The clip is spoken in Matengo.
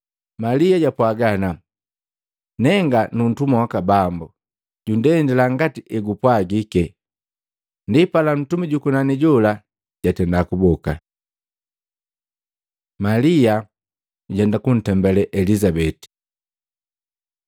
Malia jwapwaga ana, “Nenga nuntumwa waka Bambu, jundendila ngati egupwagike.” Ndipala ntumi jukunani jola jatenda kuboka. Malia jujenda kuntembale Elizabeti